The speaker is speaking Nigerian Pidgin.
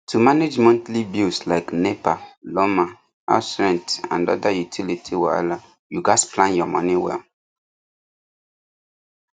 to manage monthly bills like nepa lawma house rent and other utility wahala you gats plan your money well